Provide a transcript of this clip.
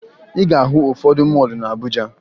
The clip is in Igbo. Ị ga-ahụ ụfọdụ mọọlụ na Abuja